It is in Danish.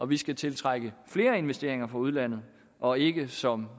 vi skal tiltrække flere investeringer fra udlandet og ikke som